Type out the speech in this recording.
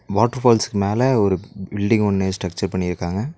Water ஃபால்ஸ்க்கு மேல ஒரு பில்டிங் ஒன்னு ஸ்ட்ரக்சர் பண்ணிருக்காங்க.